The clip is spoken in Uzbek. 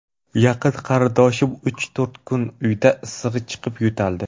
Yaqin qarindoshim uch-to‘rt kun uyda issig‘i chiqib, yo‘taldi.